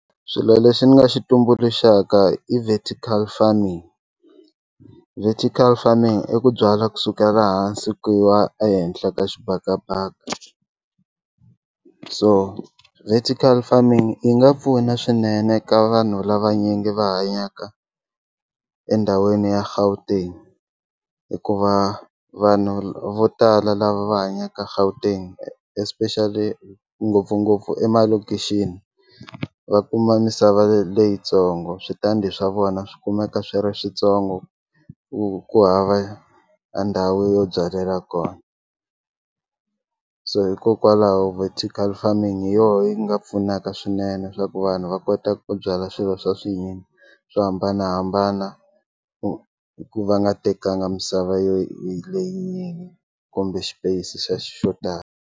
Swilo leswi ni nga xi tumbuluxa i vertical farming vertical farming i ku byala kusukela hansi ku yiwa ehenhla ka xibakabaka so vertical farming yi nga pfuna swinene ka vanhu lavanyingi va hanyaka endhawini ya Gauteng hikuva vanhu vo tala lava va hanyaka Gauteng especially ngopfungopfu emalokixi va kuma misava leyitsongo switandi swa vona swi kumeka swi ri switsongo ku ku hava a ndhawu yo byalela kona so hikokwalaho vertical farming hi yona yi nga pfunaka swinene swa ku vanhu va kota ku byala swilo swa swinyingi swo hambanahambana ku va nga tekanga misava yo leyinyingi kumbe xipeyisi xo tala.